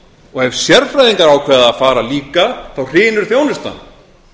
og ef sérfræðingar ákveða að fara líka þá hrynur þjónustan